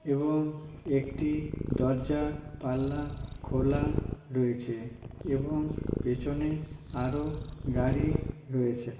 এবং পেছনে একটি দরজা জানলা খোলা রয়েছে ।এবং পিছনে আরও গাড়ি রয়েছে।